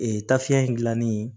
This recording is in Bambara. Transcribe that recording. Ee tafe in gilanni